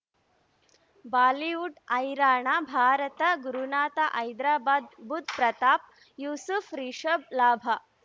Bollywood ಹೈರಾಣ ಭಾರತ ಗುರುನಾಥ ಹೈದರಾಬಾದ್ ಬುಧ್ ಪ್ರತಾಪ್ ಯೂಸುಫ್ ರಿಷಬ್ ಲಾಭ